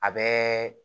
A bɛɛ